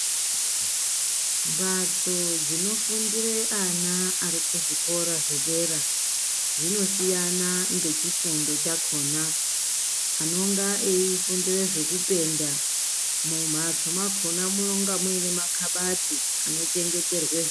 Mhatso dzinofundire ana ari kuzvikora zvedera dzinosiyana ngechifundo chakhona anenga eifundire zvekupenda mumhatso mwakona munenga muine makabati anochengeterwa zvi.